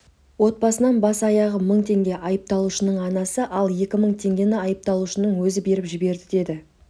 отбасынан бас-аяғы мың теңге айыпталушының анасы ал екі мың теңгені айыпталушының өзі беріп жіберді деді